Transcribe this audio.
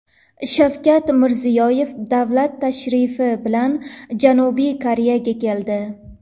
Shavkat Mirziyoyev davlat tashrifi bilan Janubiy Koreyaga keldi.